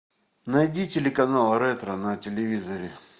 найди телеканал ретро на телевизоре